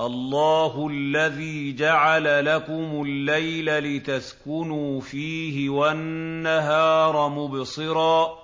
اللَّهُ الَّذِي جَعَلَ لَكُمُ اللَّيْلَ لِتَسْكُنُوا فِيهِ وَالنَّهَارَ مُبْصِرًا ۚ